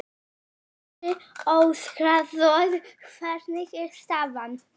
Ævi mín, ég virðist gleyma henni jafnóðum og hún líður.